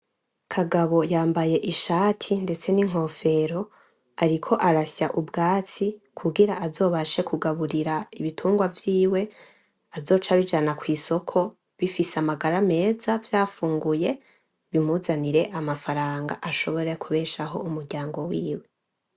Kagabo yambaye ishati ndetse n'inkofero ariko arasya ubwatsi kugirango azobashe kugaburira ibitungwa vyiwe azoce abijana ku isoko bifise amagara meza vyafunguye bimuzanire amafaranga ashobore kubeshaho umuryango wiwe.